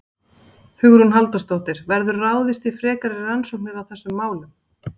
Hugrún Halldórsdóttir: Verður ráðist í frekari rannsóknir á þessum málum?